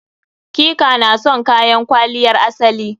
Ki/ka na son kayan kwaliyar asali?